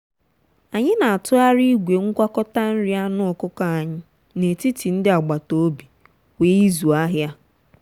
anyị na-atụgharị igwe ngwakọta nri anụ ọkụkọ anyị n'etiti ndị agbata obi kwa izu ahịa.